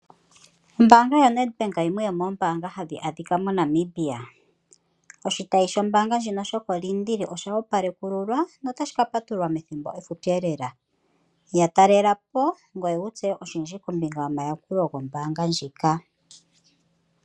Ombaanga yaNedBank oyo yimwe yomombaanga ndhoka hadhi adhikwa moNamibia . Oshitayi shombaanga ndjino shokoLiindili osha opalekululwa . Otashi ka patuluka methimbo efupi lela , yatalelapo ngweye wutseye oshindji kombinga nombaanga ndhika